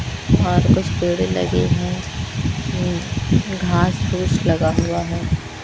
बाहर कुछ पेड़ लगे है उम्म घास फूस लगा हुआ है।